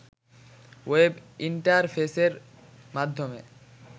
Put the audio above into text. web ইন্টারফেসের মাধ্যমে